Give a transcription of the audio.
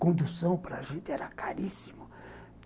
Condução para a gente era caríssimo.